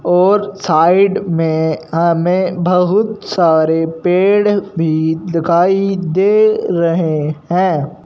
और साइड में हमें बहुत सारे पेड़ भी दिखाई दे रहे हैं।